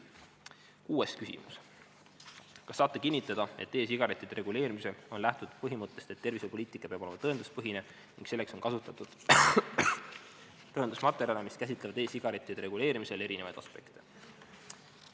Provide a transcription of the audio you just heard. Kuues küsimus: "Kas saate kinnitada, et e-sigarettide reguleerimisel on lähtutud põhimõttest, et tervisepoliitika peab olema tõenduspõhine ning selleks on kasutatud tõendusmaterjale, mis käsitlevad e-sigarettide reguleerimise erinevaid aspekte?